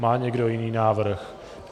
Má někdo jiný návrh?